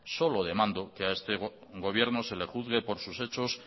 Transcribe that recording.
solo demando que a este gobierno se le juzgue por sus hechos